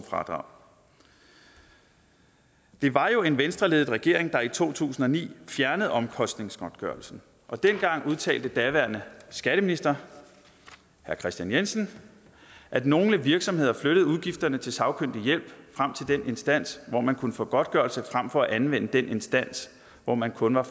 fradrag det var jo en venstreledet regering der i to tusind og ni fjernede omkostningsgodtgørelsen dengang udtalte den daværende skatteminister herre kristian jensen at nogle virksomheder flyttede udgifterne til sagkyndig hjælp frem til den instans hvor man kunne få godtgørelse frem for at anvende den instans hvor man kun var